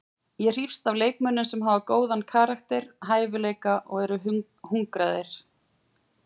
Ég hrífst að leikmönnum sem hafa góðan karakter, hæfileika og eru hungraðir.